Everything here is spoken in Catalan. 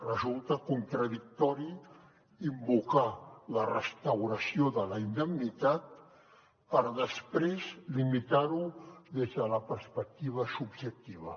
resulta contradictori invocar la restauració de la indemnitat per després limitar ho des de la perspectiva subjectiva